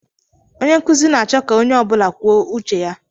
Onye nkụzi na-achọ ka onye ọ bụla kwuo uche ya.